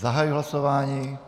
Zahajuji hlasování.